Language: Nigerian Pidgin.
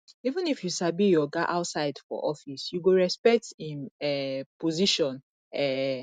even if you sabi your oga outside for office you go respect im um position um